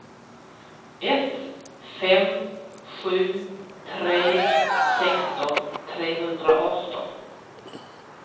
ett fem sju tre sexton trehundraarton